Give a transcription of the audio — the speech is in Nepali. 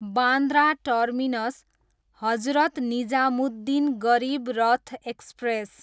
Bandra terminus, Hazrat Nizamuddin Garib Rath express